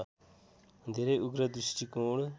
धेरै उग्र दृष्टिकोण